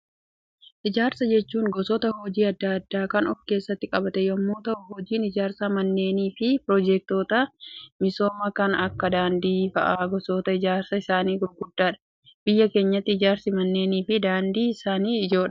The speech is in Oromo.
Ijaarsa jechuun gosoota hojii addaa addaa kan of keessatti qabate yemmuu ta'u, hojiin ijaarsa manneenii fi piroojektoota misoomaa kan akka daandii fa'aa gosoota ijaarsa isaan gurguddoodha. Biyya keenyatti ijaarsi manneenii fi daandii isaan ijoodha.